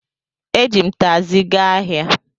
E ji m takzi gaa ahia